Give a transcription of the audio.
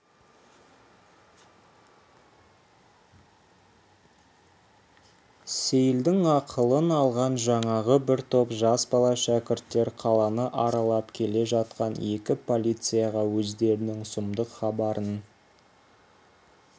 сейілдің ақылын алған жаңағы бір топ жас бала шәкірттер қаланы аралап келе жатқан екі полицияға өздерінің сұмдық хабарын